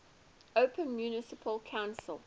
open municipal council